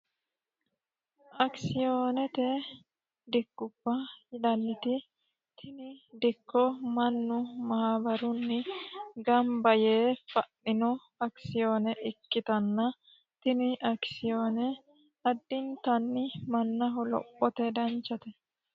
akisoonete dikkubba dikkubba yinanniti tini dikko mannu maabarunni gamba yee fa'ninota ikkitanna tini akisoone mannaho lophote lowontanni danchate